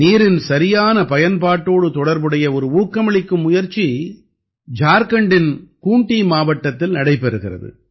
நீரின் சரியான பயன்பாட்டோடு தொடர்புடைய ஒரு ஊக்கமளிக்கும் முயற்சி ஜார்க்கண்டின் கூண்ட்டீ மாவட்டத்தில் நடைபெறுகிறது